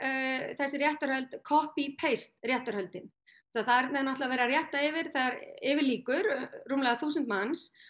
þessi réttarhöld copy paste réttarhöldin þarna er verið að rétta yfir þegar yfir lýkur rúmlega þúsund manns